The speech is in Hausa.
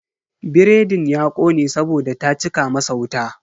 Biredin ya kone saboda ta cika masa wuta.